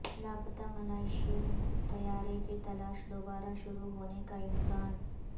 لاپتا ملائیشین طیارے کی تلاش دوبارہ شروع ہونے کا امکان